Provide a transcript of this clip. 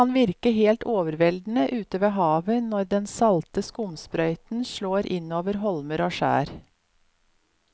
Det kan virke helt overveldende ute ved havet når den salte skumsprøyten slår innover holmer og skjær.